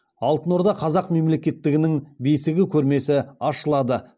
алтын орда қазақ мемлекеттігінің бесігі көрмесі ашылады